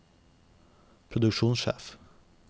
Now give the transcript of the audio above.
produksjonssjef